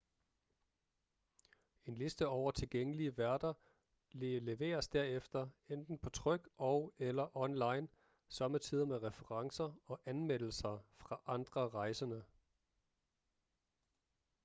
en liste over tilgængelige værter leveres derefter enten på tryk og/eller online sommetider med referencer og anmeldelser fra andre rejsende